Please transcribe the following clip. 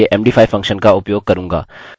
अतः यह ठीक होना चाहिए